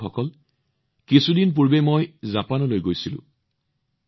বন্ধুসকল কেইদিনমান পূৰ্বে মই জাপানলৈ গৈছিলো